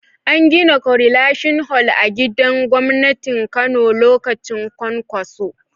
An gina korilashin hol a gidan gwamnatin Kano lokacin Kwankwaso.